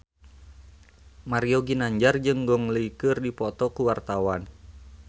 Mario Ginanjar jeung Gong Li keur dipoto ku wartawan